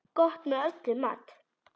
Gott með öllum mat.